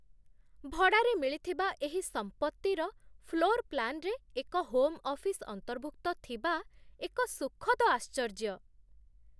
ଭଡ଼ାରେ ମିଳିଥିବା ଏହି ସମ୍ପତ୍ତିର ଫ୍ଲୋର୍ ପ୍ଲାନ୍‌ରେ ଏକ ହୋମ୍ ଅଫିସ୍ ଅନ୍ତର୍ଭୁକ୍ତ ଥିବା ଏକ ସୁଖଦ ଆଶ୍ଚର୍ଯ୍ୟ।